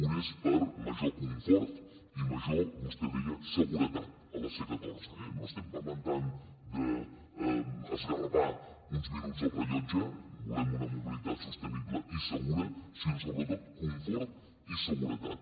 un és per major confort i major vostè deia seguretat a la c catorze eh no estem parlant tant d’esgarrapar uns minuts al rellotge volem una mobilitat sostenible i segura sinó sobretot confort i seguretat